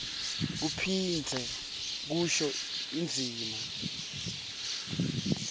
kuphindze kusho indzima